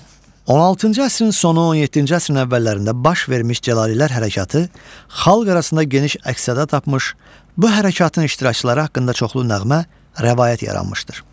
16-cı əsrin sonu, 17-ci əsrin əvvəllərində baş vermiş cəlilər hərəkatı xalq arasında geniş əks-səda tapmış, bu hərəkatın iştirakçıları haqqında çoxlu nəğmə, rəvayət yaranmışdır.